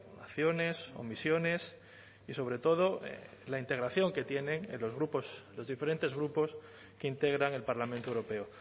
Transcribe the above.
naciones o misiones y sobre todo en la integración que tienen en los grupos los diferentes grupos que integran el parlamento europeo